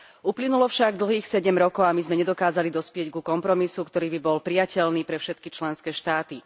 Uplynulo však dlhých sedem rokov a my sme nedokázali dospieť ku kompromisu, ktorý by bol prijateľný pre všetky členské štáty.